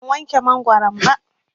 Ban wanke mangoron ba.